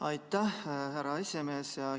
Aitäh, härra esimees!